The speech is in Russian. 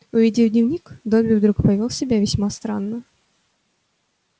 увидев дневник добби вдруг повёл себя весьма странно